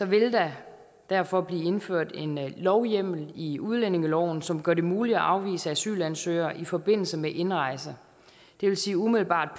vil der derfor blive indført en lovhjemmel i udlændingeloven som gør det muligt at afvise asylansøgere i forbindelse med indrejse det vil sige umiddelbart